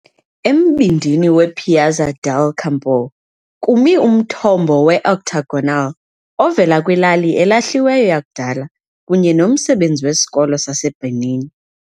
Embindini wePiazza del Campo kumi umthombo we-octagonal ovela kwilali elahliweyo yakudala kunye nomsebenzi wesikolo saseBernini.